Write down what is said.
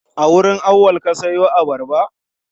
A wurin Auwal ka siyo abarba?